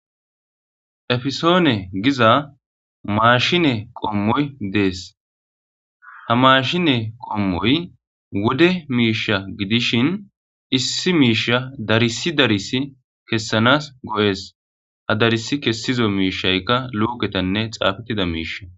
Efisone giza mashine qomoyi des ha mashine qommoy wode misha gidishin issi misha darsi darsi kesanas go'es hesi kesiza misayka luketane xafetida mishi